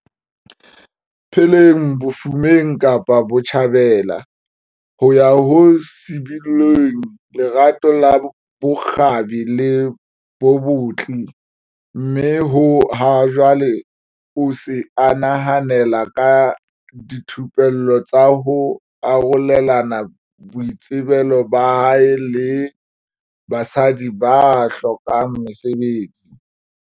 pheleng bofumeng Kapa Botjhabela, ho ya ho sibolleng lerato la bokgabi le bobetli mme ha jwale o se a nehelana ka dithupello tsa ho arolelana boitsebelo ba hae le basadi ba hlokang mesebetsi.